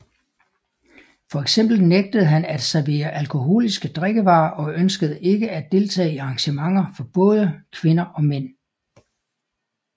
Fx nægtede han at servere alkoholiske drikkevarer og ønskede ikke at deltage i arrangementer for både kvinder og mænd